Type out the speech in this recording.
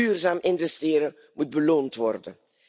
Duurzaam investeren moet beloond worden.